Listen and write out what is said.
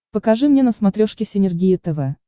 покажи мне на смотрешке синергия тв